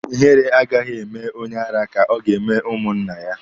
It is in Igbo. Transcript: Ihere agaghị eme onye ara ka ọ ga-eme ụmụ nna ya.